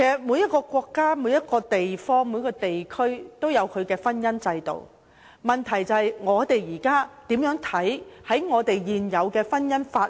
每個國家和地區都有其婚姻制度，問題是：我們認為是否需要遵從現有的婚姻法例？